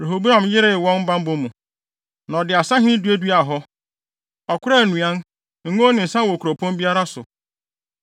Rehoboam yeree wɔn bammɔ mu, na ɔde asahene duaduaa hɔ. Ɔkoraa nnuan, ngo ne nsa wɔ kuropɔn biara so.